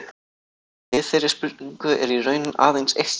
Við þeirri spurningu er í raun aðeins eitt svar.